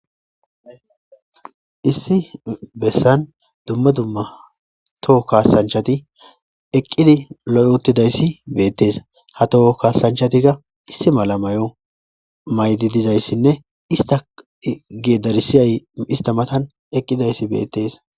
Issi bessan dumma dumma toho kaasanchati eqqidi lo7 uttidayssi beettees ha toho kaasanchatika issi mala may7o maydi dizayssinne ista ge darisiyay istamatan eqqidayssi beettees.